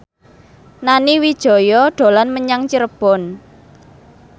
Nani Wijaya dolan menyang Cirebon